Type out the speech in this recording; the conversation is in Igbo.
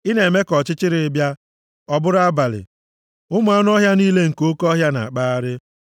Ị na-eme ka ọchịchịrị bịa, ọ bụrụ abalị; ụmụ anụ ọhịa niile nke oke ọhịa na-akpagharị.